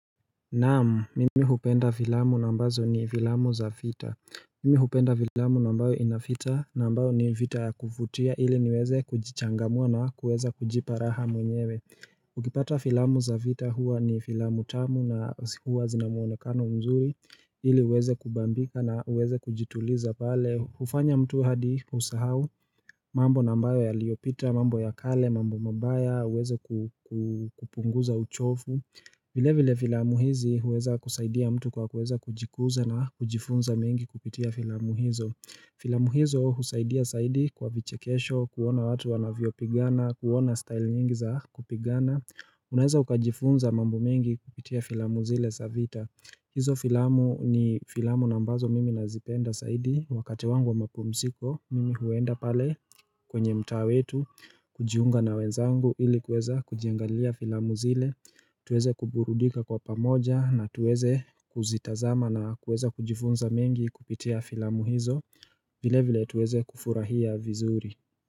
Naam, mimi hupenda vilamu na ambazo ni vilamu za fita Mimi hupenda vilamu nambayo inafita nambayo ni vita ya kufutia ili niweze kujichangamua na kuweza kujiparaha mwenyewe Ukipata vilamu za vita huwa ni vilamu tamu na huwa zinamuonekano mzuri Hili uweze kubambika na uweze kujituliza pale, ufanya mtu hadi usahau mambo nambayo yaliopita, mambo ya kale, mambo mabaya, uweze kupunguza uchofu vile vile filamu hizi huweza kusaidia mtu kwa kuweza kujikuza na kujifunza mingi kupitia filamu hizo. Filamu hizo husaidia saidi kwa vichekesho, kuona watu wanavyo pigana, kuona style nyingi za kupigana. Unaeza ukajifunza mambo mingi kupitia filamu zile sa vita. Hizo filamu ni filamu nambazo mimi nazipenda saidi. Wakati wangu wa mapumsiko, mimi huenda pale kwenye mta wetu, kujiunga na wenzangu ili kweza kujiangalia filamu zile. Tuweze kuburudika kwa pamoja na tuweze kuzitazama na kuweza kujifunza mengi kupitia filamu hizo vile vile tuweze kufurahia vizuri.